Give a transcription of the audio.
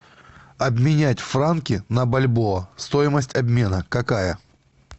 обменять франки на бальбоа стоимость обмена какая